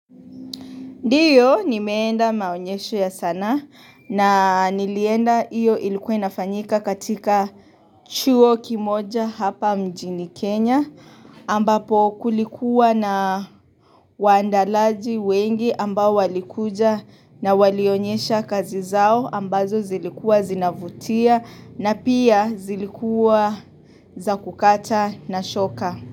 Ndiyo nimeenda maonyesho ya sanaa na nilienda iyo ilikuwa inafanyika katika chuo kimoja hapa mjini Kenya ambapo kulikuwa na wandalaji wengi ambao walikuja na walionyesha kazi zao ambazo zilikua zinavutia na pia zilikua za kukata na shoka.